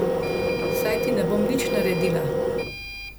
Saj ti ne bom nič naredila.